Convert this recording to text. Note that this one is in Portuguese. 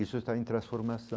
Isso está em transformação.